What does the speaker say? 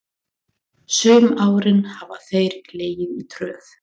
Sum árin hafa þeir legið í tröð.